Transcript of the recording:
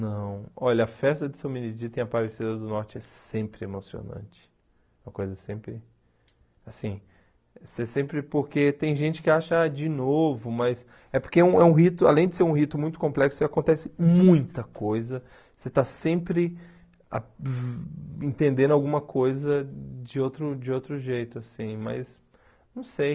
Não, olha, a festa de São Benedito em Aparecida do Norte é sempre emocionante, é uma coisa sempre, assim, você sempre, porque tem gente que acha de novo, mas é porque um é um rito, além de ser um rito muito complexo, acontece muita coisa, você está sempre a entendendo alguma coisa de outro de outro jeito, assim, mas não sei.